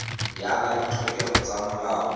ya ka ditlhokego tsa molao